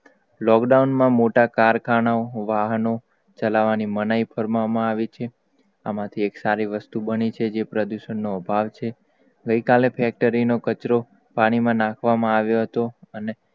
lockdown માં મોટા ખરખાનાઓ, વાહનો ચલાવવા ની મનાઈ ફરવામાં આવિ છે. આમાંથી એક સારી વસ્તુ બની છે? જે પ્રદૂષણ નો અભાવ છે ગઈ કાલે factory નો કચરો પાણી માં નાખવામા આવ્યો હતો અને,